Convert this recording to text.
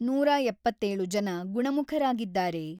ನೂರ ಎಪ್ಪತ್ತೇಳು ಜನ ಗುಣಮುಖರಾಗಿದ್ದಾರೆ.